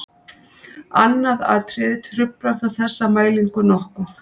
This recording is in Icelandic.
Annað atriði truflar þó þessa mælingu nokkuð.